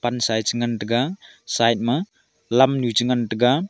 pansa e chengan taiga side ma lamnu chengan taiga.